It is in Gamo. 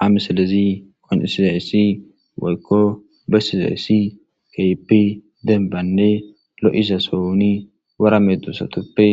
Hamisilezi qoncisizayssi woykko besizayssi keypi denbanne lo7iza souni wara medusatoppe